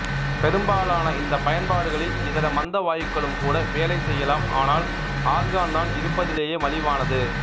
பெரும்பாலான இந்தப் பயன்பாடுகளில் இதர மந்த வாயுக்களும் கூட வேலை செய்யலாம் ஆனால் ஆர்கான் தான் இருப்பதிலேயே மலிவானது